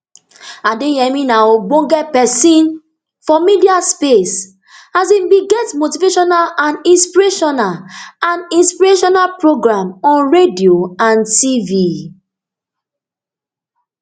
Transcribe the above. adeyemi na ogbonge pesin for media space as im bin get motivational and inspirational and inspirational programme on radio and tv